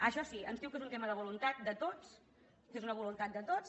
això sí ens diu que és un tema de voluntat de tots que és una voluntat de tots